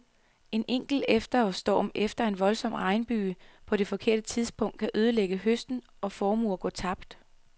En enkelt efterårsstorm eller en voldsom regnbyge på det forkerte tidspunkt kan ødelægge høsten, og formuer går tabt.